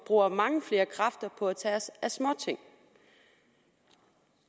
bruger mange flere kræfter på at tage os af småting